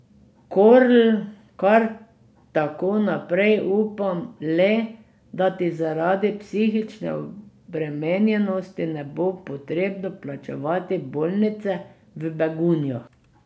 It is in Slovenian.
Korl, kar tako naprej, upam le, da ti zaradi psihične obremenjenosti ne bo potrebno plačevati bolnice v Begunjah.